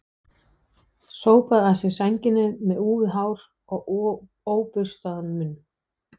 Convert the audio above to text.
Sópaði að sér sænginni með úfið hár og óburstaðan munn.